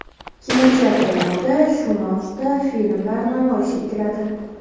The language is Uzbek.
Kinoteatrlarda shu mavzuda filmlar namoyish etiladi.